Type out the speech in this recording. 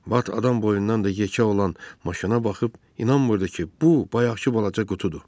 Bat adam boyundan da yekə olan maşına baxıb inanmırdı ki, bu, bayaqkı balaca qutudur.